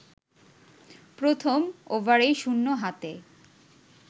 প্রথম ওভারেই শুন্য হাতে